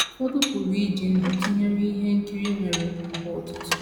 Ụfọdụ pụrụ iji ndụ tụnyere ihe nkiri nwere àgbà atọ atọ.